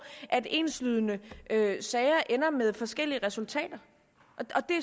at enslydende sager ender med forskellige resultater det